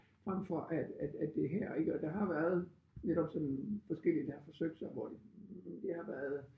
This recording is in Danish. Frem for at at at det er her ik og der har været netop sådan forskellige der har forsøgt sig hvor det har været